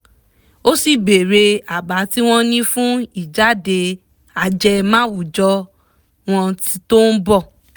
ó sì bèèrè àbá tí wọ́n ní fún ìjáde ajẹmáwùjọ wọn tó ń bọ̀